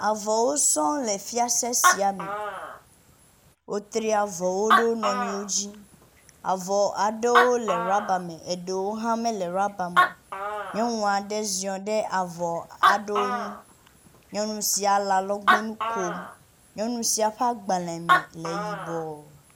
Avɔwo sɔŋ le fiase sia me, wotri avɔwo ɖe wo nɔnɔewo dzi. Avɔ aɖewo le rubber me, eɖewo hã mele rubber me o. Nyɔnua ɖe ziɔ̃ ɖe avɔ aɖewo nu, nyɔnu sia le alɔgbɔnu kom. Nyɔnu sia ƒa gbalẽ me le yibɔɔ.